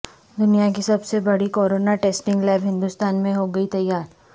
دنیا کی سب سے بڑی کورونا ٹیسٹنگ لیب ہندوستان میں ہوگی تیار